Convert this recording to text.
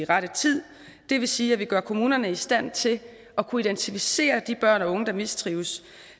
rette tid det vil sige at vi gør kommunerne i stand til at kunne identificere de børn og unge der mistrives